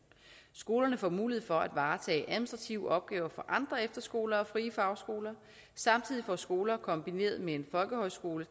skolerne får mulighed for at varetage administrative opgaver for andre efterskoler og frie fagskoler samtidig får skoler kombineret med en folkehøjskole